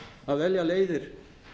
að velja leiðir